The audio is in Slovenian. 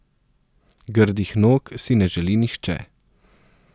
Grdih nog si ne želi nihče.